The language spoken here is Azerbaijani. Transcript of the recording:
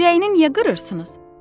Ürəyini niyə qırırsınız?